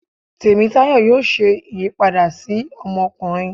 Temitayo yóò ṣe ìyípada si ọmọkunrin.